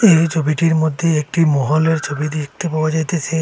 এই ছবিটির মধ্যে একটি মহলের ছবি দেখতে পাওয়া যাইতেছে।